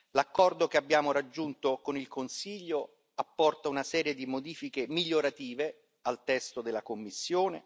L'accordo che abbiamo raggiunto con il Consiglio apporta una serie di modifiche migliorative al testo della Commissione.